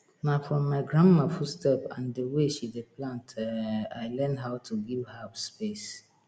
na from my grandma footstep and the way she dey plant um i learn how to give herbs space